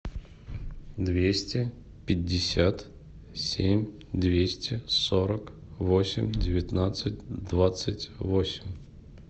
двести пятьдесят семь двести сорок восемь девятнадцать двадцать восемь